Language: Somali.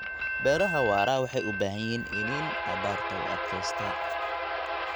Beeraha waara waxay u baahan yihiin iniin abaarta u adkaysta.